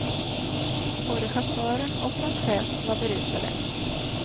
Både chauffören och hans chef var berusade.